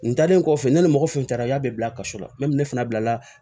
N talen kɔfɛ ne ni mɔgɔ fɛn bɛɛ y'a bɛɛ bila ka so la ne fana bila la